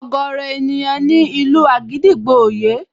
Ọ̀gọ̀ọ̀rọ̀ ènìyàn ni ìlù àgídìgbo ò yé